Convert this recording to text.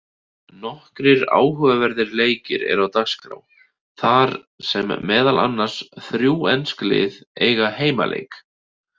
Nokkrir áhugaverðir leikir eru á dagskrá þar sem meðal annars þrjú ensk lið eiga heimaleik.